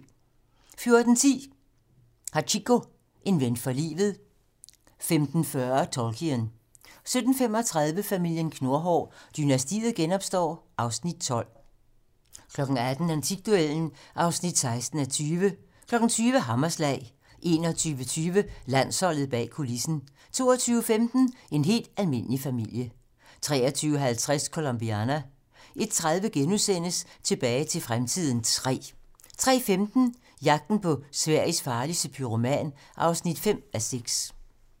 14:10: Hachiko - en ven for livet 15:40: Tolkien 17:35: Familien Knurhår: Dynastiet genopstår (Afs. 12) 18:00: Antikduellen (16:20) 20:00: Hammerslag 21:20: Landsholdet bag kulissen 22:15: En helt almindelig familie 23:50: Colombiana 01:30: Tilbage til fremtiden III * 03:15: Jagten på Sveriges farligste pyroman (5:6)